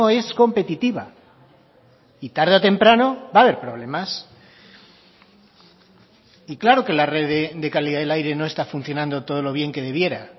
es competitiva y tarde o temprano va a haber problemas y claro que la red de calidad del aire no está funcionando todo lo bien que debiera